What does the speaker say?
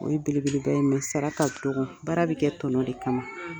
O ye belebeleba ye sara ka dɔgɔ. Baara bɛ kɛ tɔnɔ de kama.